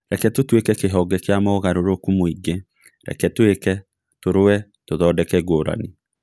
Reke tũtũĩke kĩhonge kĩa mogarũrũku mũingĩ: Reke tũĩke, tũrũwe, tũthondeke ngũrani.